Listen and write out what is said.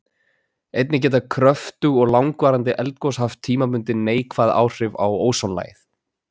Einnig geta kröftug og langvarandi eldgos haft tímabundin neikvæð áhrif á ósonlagið.